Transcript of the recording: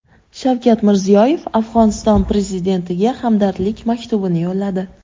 Shavkat Mirziyoyev Afg‘oniston prezidentiga hamdardlik maktubini yo‘lladi.